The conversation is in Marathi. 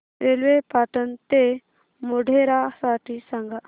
रेल्वे पाटण ते मोढेरा साठी सांगा